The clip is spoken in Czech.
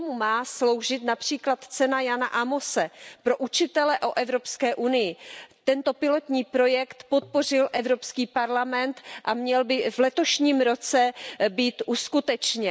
K tomu má sloužit například cena Jana Ámose pro učitele o Evropské unii. Tento pilotní projekt podpořil Evropský parlament a měl by v letošním roce být uskutečněn.